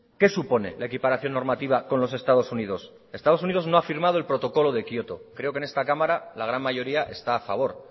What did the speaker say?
qué supone la equiparación normativa con los estados unidos estados unidos no ha firmado el protocolo de kioto creo que en esta cámara la gran mayoría está a favor